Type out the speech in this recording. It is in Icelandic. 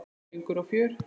Söngur og fjör.